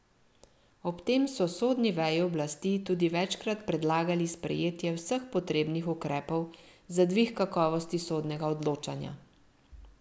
Ob tem so sodni veji oblasti tudi večkrat predlagali sprejetje vseh potrebnih ukrepov za dvig kakovosti sodnega odločanja.